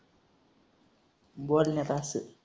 बरं नाही तर असू दे.